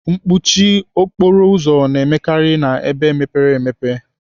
Mkpọchi okporo ụzọ na-emekarị n'ebe mepere emepe.